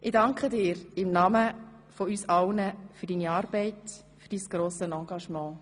Ich danke dir im Namen von uns allen für deine Arbeit, für dein grosses Engagement.